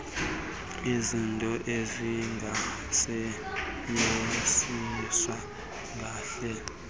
izinto ezingasetyenziswa ngandlela